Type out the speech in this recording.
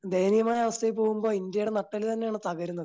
ദയനീയമായ അവസ്ഥയിൽ പോകുമ്പോൾ ഇന്ത്യയുടെ നട്ടെല്ല് തന്നെയാണ് തകരുന്നത്.